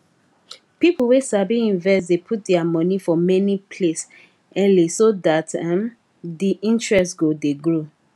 people wey sabi invest dey put their monie for many place early so dat um de interest go dey grow